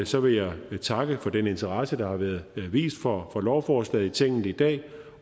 så vil jeg takke for den interesse der har været vist for lovforslaget i tinget i dag